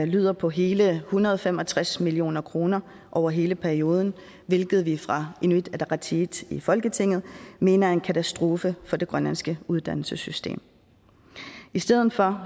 lyder på hele en hundrede og fem og tres million kroner over hele perioden hvilket vi fra inuit ataqatigiits side i folketinget mener er en katastrofe for det grønlandske uddannelsessystem i stedet for